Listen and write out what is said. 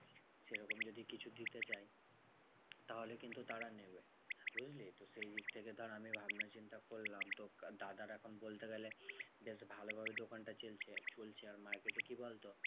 সেরকম যদি কিছু দিতে চায়, তাহলে কিন্তু তারা নেবে বুঝলি? তো সেই দিক থেকে ধর আমি ভাবনাচিন্তা করলাম তো দাদার এখন বলতে গেলে বেশ ভালো ভাবে দোকানটা চলছে চলছে। আর market এ কি বলতো